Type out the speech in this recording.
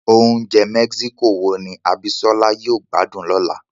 Oúnjẹ mexico wo ni Abisola yóò gbádùn lọ́la?